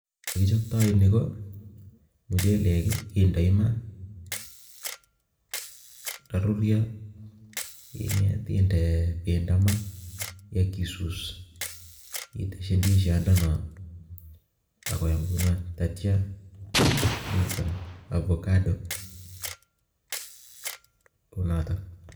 Nyee kichopto nii ko mchelek indoii maa ndarurio indee bendo maa ak isus iiteshi ndisot ako nyam ndaitia iton avocado kounotok